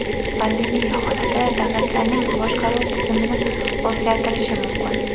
Pandemiya holati davlatlarning boshqaruv tizimini o‘zgartirishi mumkin?